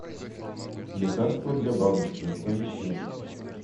лекарство для бабушки поищи